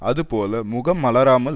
அது போல் முகம் மலராமல்